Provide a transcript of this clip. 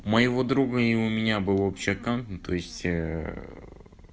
у моего друга и у меня был общий аккаунт ну то есть